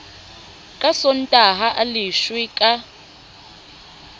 ka sontaha a leshwe ka